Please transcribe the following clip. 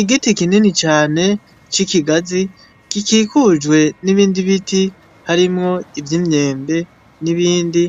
Igiti kinini cane c'ikigazi kikikujwe n'ibindi biti harimwo ivyo imyembe n'ibindi